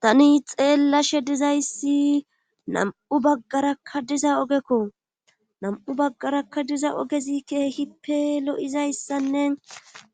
Tani xeellashe dizayssi nam7u baggarakka diza ogekko nam7u baggarakka diza ogezi keehippe lo7izayssanne